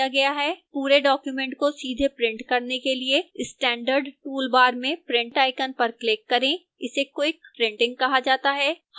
पूरे document को सीधे print करने के लिए standard toolbar में print icon पर click करें इसे क्वीक प्रिंटिंग कहा जाता है